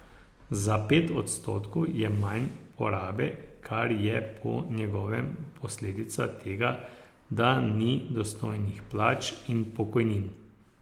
Za pet odstotkov je manj porabe, kar je po njegovem posledica tega, da ni dostojnih plač in pokojnin.